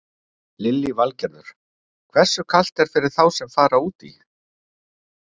Lillý Valgerður: Hversu kalt er fyrir þá sem fara út í?